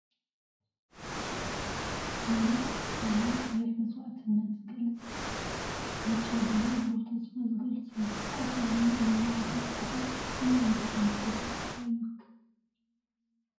ባንዴራ እንትከውን ቀይሕ መስዋእትነት ዝገልፅ ፣ብጫ ብድማ ብሩህ ተስፋ ዝገልፅ እዩ፣ ቆፃል ድማ ናይ ልምዓት ምልክት እዩ። እዚ ናይ ኣንበሳ ምስሊ ከ እንታይ ይውክል ?